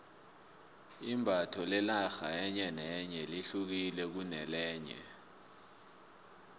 imbatho lenarha enye nenye lehukile kunelenye